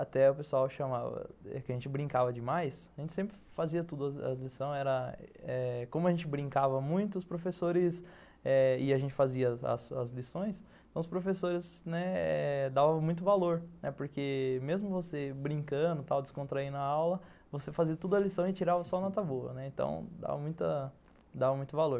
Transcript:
até o pessoal chamava, a gente brincava demais, a gente sempre fazia tudo, a lição era eh como a gente brincava muito, os professores, eh e a gente fazia as lições, os professores davam muito valor, porque mesmo você brincando tal, descontraindo a aula, você fazia tudo a lição e tirava só nota boa, então dava muito valor.